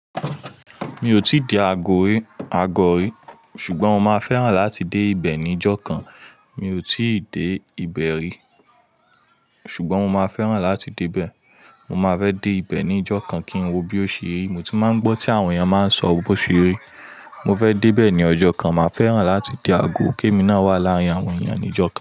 Mi ò tí dé Agọ́ rí, ṣùgbọ́n mo máa fẹ́ràn láti dé ibẹ̀ ní ọjọ́ kan. Mi ò tí dé ibẹ̀ rí, ṣùgbọ́n mo máa fẹ́ràn láti dé ibẹ̀. Mo máa fẹ́ dé ibẹ̀ ní ọjọ́ kan kí n wo bí ó ṣe rí. Mo ti máa ń gbọ́ tí àwọn èèyàn máa ń sọ bó ṣe rí. Mo fẹ́ dé ibẹ̀ ní ọjọ́ kan. Mo máa fẹ́ràn láti dé Agọ́. Kẹ́mi náà wà láàárín àwọn èèyàn ní ọjọ́ kan.